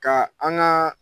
Ka an ka